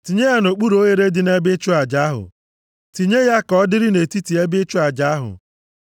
Tinye ya nʼokpuru oghere dị nʼebe ịchụ aja ahụ. Tinye ya ka ọ dịrị nʼetiti ebe ịchụ aja ahụ.